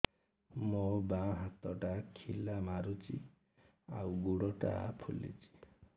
ମୋ ବାଆଁ ହାତଟା ଖିଲା ମାରୁଚି ଆଉ ଗୁଡ଼ ଟା ଫୁଲୁଚି